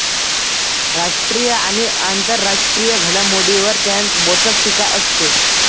राष्ट्रीय आणि आंतरराष्ट्रीय घडामोडीवर त्यांत बोचक टीका असते